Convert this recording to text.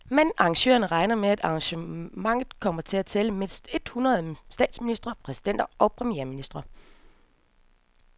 Men arrangørerne regner med, at arrangementet kommer til at tælle mindst et hundrede statsministre, præsidenter og premierministre.